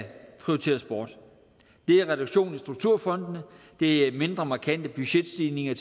prioriteres bort det er reduktion af strukturfondene og det er mere markante budgetstigninger